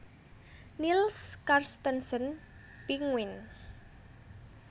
Niels Carstensen Pinguine